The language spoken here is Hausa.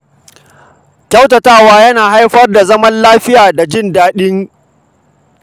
Kyautatawa yana haifar da zaman lafiya da jin daɗin rayuwa.